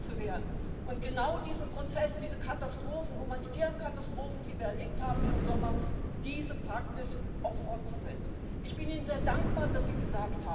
Mr Juncker. On the Irish border already there are huge differences between the north and the south. Differences of politics, of tax, of currency and of